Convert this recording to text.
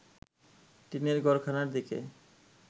টিনের ঘরখানার দিকে